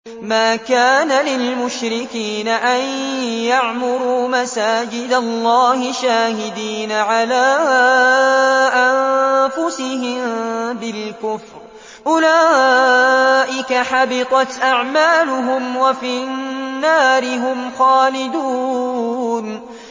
مَا كَانَ لِلْمُشْرِكِينَ أَن يَعْمُرُوا مَسَاجِدَ اللَّهِ شَاهِدِينَ عَلَىٰ أَنفُسِهِم بِالْكُفْرِ ۚ أُولَٰئِكَ حَبِطَتْ أَعْمَالُهُمْ وَفِي النَّارِ هُمْ خَالِدُونَ